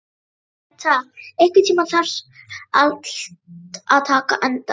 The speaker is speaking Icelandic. Bengta, einhvern tímann þarf allt að taka enda.